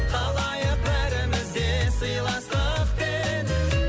қалайық бәріміз де сыйластықпен